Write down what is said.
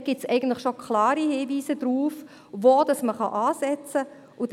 Dieser enthält bereits klare Hinweise darauf, wo man ansetzen kann.